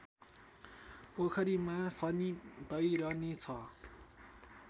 पोखरीमा शनि तैरने छ